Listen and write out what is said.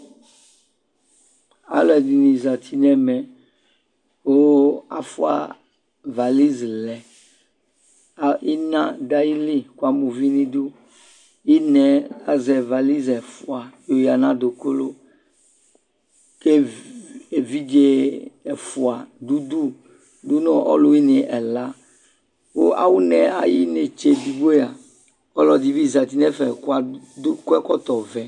alò ɛdini zati n'ɛmɛ kò afua valiz lɛ ina do ayili kò ama uvi n'idu ina yɛ azɛ valiz ɛfua oya n'adòku k'evidze ɛfua do udu do n'ɔlòwini ɛla kò awu na yɛ ayi inetse edigbo yɛ ɔlò ɛdi bi zati no ɛfɛ kò akɔ ɛkɔtɔ vɛ